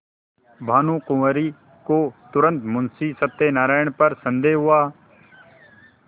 भानुकुँवरि को तुरन्त मुंशी सत्यनारायण पर संदेह हुआ